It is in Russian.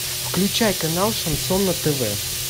включай канал шансон на тв